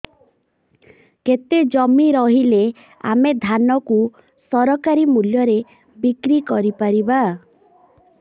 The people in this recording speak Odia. କେତେ ଜମି ରହିଲେ ଆମେ ଧାନ କୁ ସରକାରୀ ମୂଲ୍ଯରେ ବିକ୍ରି କରିପାରିବା